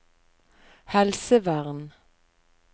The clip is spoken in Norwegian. helsevern